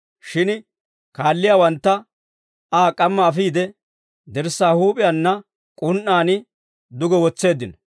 Shin kaalliyaawantta Aa k'amma afiide, dirssaa huup'iyaanna k'un"aan duge wotseeddino.